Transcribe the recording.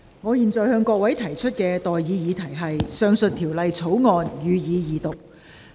我現在向各位提出的待議議題是：《2021年危險品條例草案》，予以二讀。